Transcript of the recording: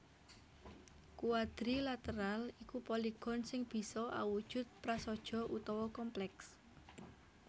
Quadrilateral iku poligon sing bisa awujud prasaja utawa komplèks